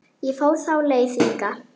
Ég fór þá leið líka.